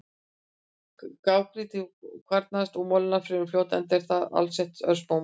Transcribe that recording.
Grágrýti kvarnast og molnar fremur fljótt enda er það alsett örsmáum holum.